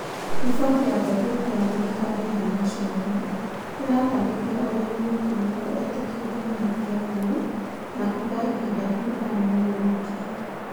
Riboti ya gathĩti ya thirikari ya National ĩratarĩria ũrĩa mwĩkũirwo etĩkĩrire mahĩtia mau na kuga ihinda rĩu arĩ mũgũruki